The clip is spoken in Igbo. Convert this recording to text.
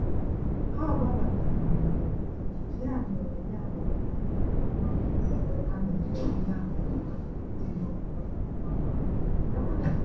Ha gbabatara na mberede, ya mere ya mere anyị gara n'otu ebe a nere ìhè ama-ama, dị n'okporo ámá ahụ.